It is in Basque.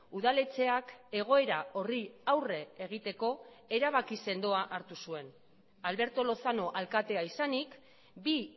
udaletxeak egoera horri aurre egiteko erabaki sendoa hartu zuen alberto lozano alkatea izanik bi